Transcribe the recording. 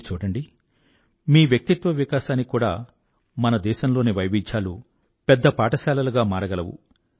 మీరు చూడండి మీ వ్యక్తిత్వ వికాసానికి కూడా మన దేశంలోని వైవిధ్యాలు పెద్ద పాఠశాలలుగా మారగలవు